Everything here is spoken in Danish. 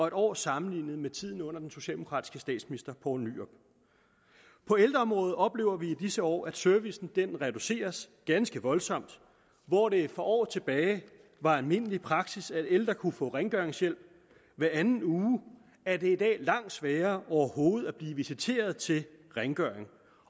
en år sammenlignet med tiden under den socialdemokratiske statsminister poul nyrup på ældreområdet oplever vi i disse år at servicen reduceres ganske voldsomt hvor det for år tilbage var almindelig praksis at ældre kunne få rengøringshjælp hver anden uge er det i dag langt sværere overhovedet at blive visiteret til rengøringshjælp